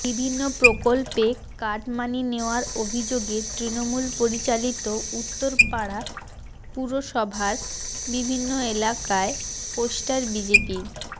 বিভিন্ন প্রকল্পে কাটমানি নেওয়ার অভিযোগে তৃণমূল পরিচালিত উত্তরপাড়া পুরসভার বিভিন্ন এলাকায় পোস্টার বিজেপির